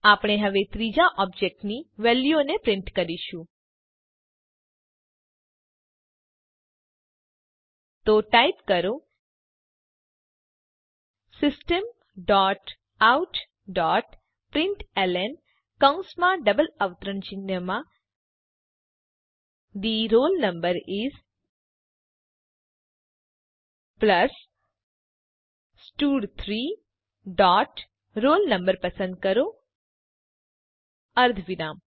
આપણે હવે ત્રીજા ઓબજેક્ટ ની વેલ્યુઓને પ્રીંટ કરીશું તો ટાઈપ કરો system dot out dot println કૌંસમાં ડબલ અવતરણ ચિહ્નમાં the roll no is plus stud three dot roll no પસંદ કરો અર્ધવિરામ